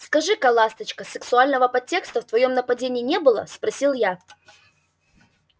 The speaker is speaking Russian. скажи ка ласточка сексуального подтекста в твоём нападении не было спросил я